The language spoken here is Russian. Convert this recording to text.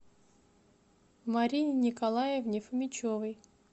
марине николаевне фомичевой